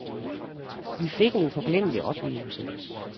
Vi fik en uforglemmelig oplevelse.